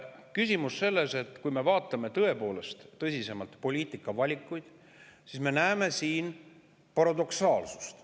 Aga küsimus on selles, et kui me vaatame tõepoolest tõsisemalt poliitikavalikuid, siis me näeme siin paradoksaalsust.